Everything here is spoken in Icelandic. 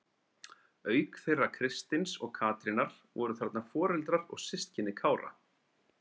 Auk þeirra Kristins og Katrínar voru þarna foreldrar og systkini Kára.